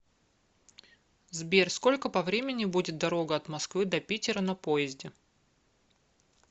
сбер сколько по времени будет дорога от москвы до питера на поезде